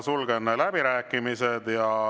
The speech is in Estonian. Sulgen läbirääkimised.